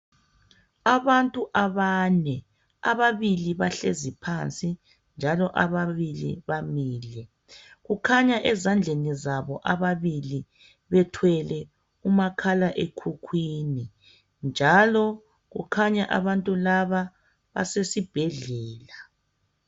Abantu abane ababili bahlezi phansi njalo ababili bamile, kukhanya ezandleni zabo ababili bethwele umakhala ekhukhwini njalo kukhanya abantu laba basesibhedlela.